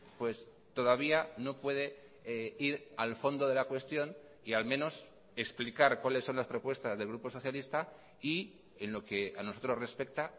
pues todavía no puede ir al fondo de la cuestión y al menos explicar cuáles son las propuestas del grupo socialista y en lo que a nosotros respecta